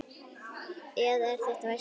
Eða er þetta veski?